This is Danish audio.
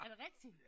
Er det rigtig?